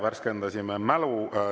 Värskendasime mälu.